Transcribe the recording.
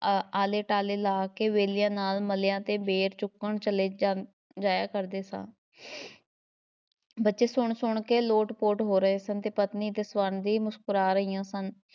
ਆਹ ਆਲੇ-ਟਾਲੇ ਲਾ ਕੇ ਬੇਲੀਆਂ ਨਾਲ਼ ਮਲ੍ਹਿਆਂ ਦੇ ਬੇਰ ਚੁਗਣ ਚਲੇ ਜਾਂ~ ਜਾਇਆ ਕਰਦੇ ਸਾਂ ਬੱਚੇ ਸੁਣ-ਸੁਣ ਕੇ ਲੋਟ ਪੋਟ ਹੋ ਰਹੇ ਸਨ ਤੇ ਪਤਨੀ ਤੇ ਸਵਰਨ ਵੀ ਮੁਸਕਰਾ ਰਹੀਆਂ ਸਨ।